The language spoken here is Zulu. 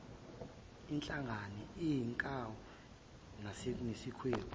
ihlangane inkawu nesikhwebu